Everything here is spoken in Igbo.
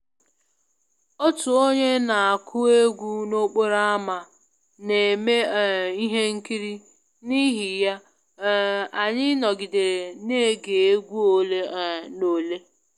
Otu onye na-akụ egwú n’okporo ámá na-eme um ihe nkiri, n’ihi ya, um anyị nọgidere na-ege egwú ole um na ole